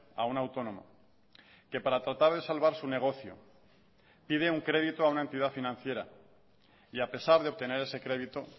a un autónomo que para tratar de salvar su negocio pide un crédito a una entidad financiera y a pesar de obtener ese crédito